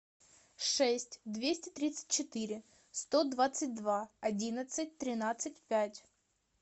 шесть двести тридцать четыре сто двадцать два одиннадцать тринадцать пять